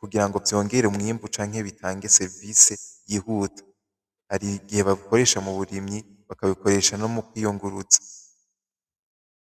kugira ngo vyongere umwimbu canke bitange servise yihuta hari gihe babikoresha mu burimyi bakabikoresha no mu kwiyunguruza.